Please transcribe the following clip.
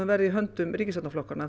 verði í höndum ríkisstjórnarflokkanna